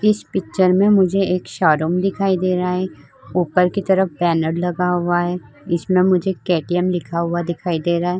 इस पिक्चर में मुझे एक शारूम दिखाई दे रहा है ऊपर की तरफ बैनर लगा हुआ है इसमें मुझे के.टी.एम. लिखा हुआ दिखाई दे रहा है।